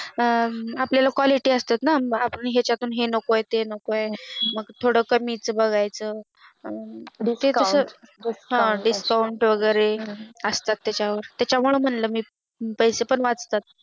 अं आपली ला Quality असताना कि आपल्याला याच्यातून हे नकोत नको आहे मग थोडं कमीच बघायचं अं Discount वैगेरे असतात ना त्याच्यावर त्याच्यामुळे म्हटलं मी पैसे पण वाचतात